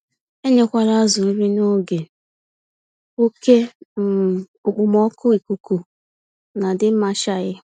Enyekwala azụ nri n'oge oke um okpomọkụ ikuku nadịmachaghị